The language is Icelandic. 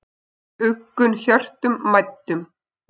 huggun hjörtum mæddum